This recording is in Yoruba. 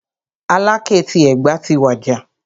Aláké ti Ẹ̀gbá ti wàjà.